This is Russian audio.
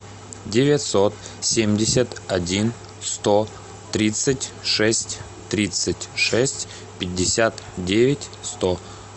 девятьсот семьдесят один сто тридцать шесть тридцать шесть пятьдесят девять сто